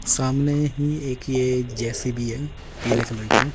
सामने ही एक ये जे_सी_बी है पीले कलर के।